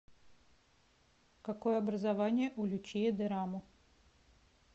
какое образование у лючия дэрамо